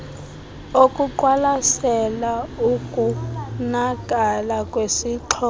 okuqwalasela ukonakala kwesixhobo